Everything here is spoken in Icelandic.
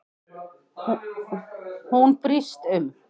Hún brýst um.